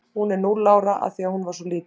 Hún er núll ára af því að hún er svo lítil.